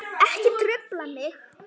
Ekki trufla mig!